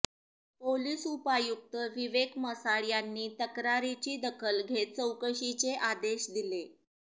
police उपायुक्त विवेक मसाळ यांनी तक्रारीची दखल घेत चौकशीचे आदेश दिले